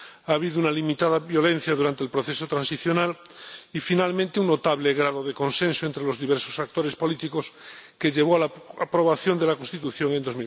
Ha habido una limitada violencia durante el proceso transicional y, finalmente, un notable grado de consenso entre los diversos actores políticos, que llevó a la aprobación de la Constitución en